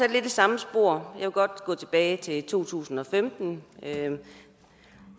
lidt i samme spor og jeg vil godt gå tilbage til to tusind og femten